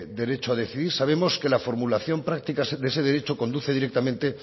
derecho a decidir sabemos que la formulación práctica de ese derecho conduce directamente